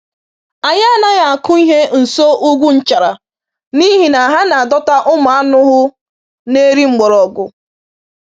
Anyị anaghị akụ ihe nso ugwu nchara n’ihi na ha na-adọta ụmụ anụhụ na-eri mgbọrọgwụ.